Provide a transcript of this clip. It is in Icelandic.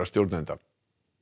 stjórnenda